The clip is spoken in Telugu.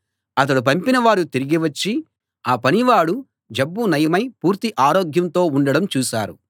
అతడు పంపిన వారు తిరిగి వచ్చి ఆ పనివాడు జబ్బు నయమై పూర్తి ఆరోగ్యంతో ఉండడం చూశారు